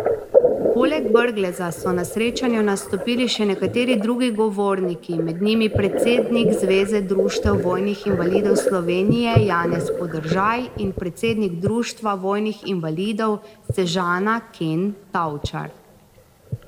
Poleg Brgleza so na srečanju nastopili še nekateri drugi govorniki, med njimi predsednik Zveze društev vojnih invalidov Slovenije Janez Podržaj in predsednik Društva vojnih invalidov Sežana Ken Tavčar.